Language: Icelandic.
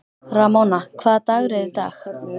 Ramóna, hvaða dagur er í dag?